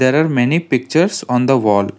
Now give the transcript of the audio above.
there are many pictures on the wall.